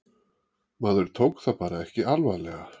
Maður tók það bara ekki alvarlega.